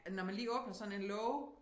Øh når man lige åbner sådan en låge